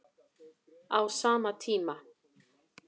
Á sama tíma